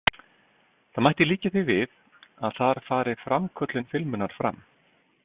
Það mætti líkja því við að þar fari framköllun filmunnar fram.